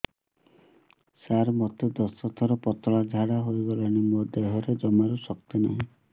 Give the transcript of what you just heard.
ସାର ମୋତେ ଦଶ ଥର ପତଳା ଝାଡା ହେଇଗଲାଣି ମୋ ଦେହରେ ଜମାରୁ ଶକ୍ତି ନାହିଁ